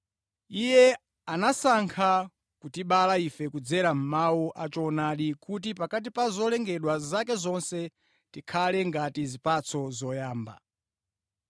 Iye anasankha kutibereka ife kudzera mʼmawu a choonadi, kuti pakati pa zolengedwa zake zonse, tikakhale ngati zipatso zoyamba.